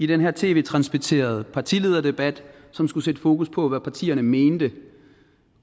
den her tv transmitterede partilederdebat som skulle sætte fokus på hvad partierne mener